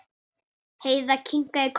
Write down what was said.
Heiða kinkaði kolli.